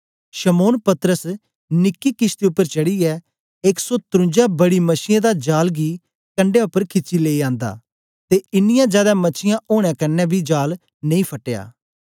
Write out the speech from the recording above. शमौन पतरस निकी किशती उपर चढ़ीयै एक सौ तरुन्जा बड़ी मछीयें दा जाल गी कंडै उपर खिची आंदा ते ईनीयां जादै मछीयां ओनें कन्ने बी जाल नेई फटया